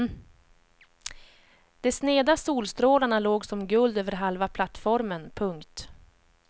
De sneda solstrålarna låg som guld över halva plattformen. punkt